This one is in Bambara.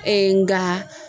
nga